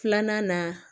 Filanan na